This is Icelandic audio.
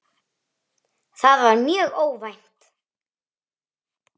Það var mjög óvænt.